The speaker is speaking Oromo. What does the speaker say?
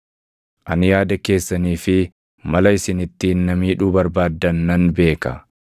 “Ani yaada keessanii fi mala isin ittiin na miidhuu barbaaddan nan beeka.